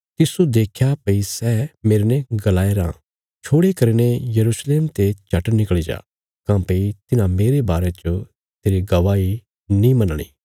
तिस्सो देख्या भई सै मेरने गलाया राँ छोड़े करीने यरूशलेम ते झट निकल़ी जा काँह्भई तिन्हां मेरे बारे च तेरी गवाही नीं मन्नणी